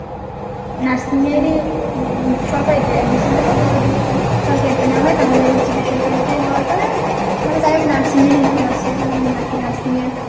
nursing এর ই উম সরকারিতে admission দিবো যে যদি সরকারীতে না হয় তাহলে হচ্ছে বেসরকারিতে হওয়ার পরে মানে যাইহোক Nursing এর ইচ্ছা আছে Nursing এর